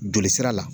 Joli sira la